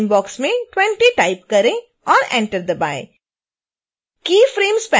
current frame box में 20 type करें और enter दबाएँ